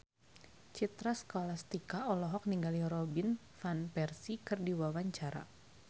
Citra Scholastika olohok ningali Robin Van Persie keur diwawancara